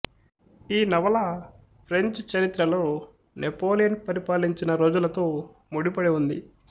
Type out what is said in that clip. ఈ నవల ఫ్రెంచి చరిత్రలో నెపొలియన్ పరిపాలించిన రోజులతొ ముడిపడి ఉంది